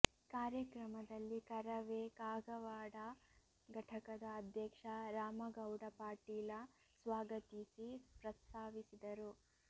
ಕಾರ್ಯಕ್ರಮದಲ್ಲಿ ಕರವೇ ಕಾಗವಾಡ ಘಟಕದ ಅಧ್ಯಕ್ಷ ರಾಮಗೌಡ ಪಾಟೀಲ ಸ್ವಾಗತೀಸಿ ಪ್ರಸ್ತಾವಿಸಿದರು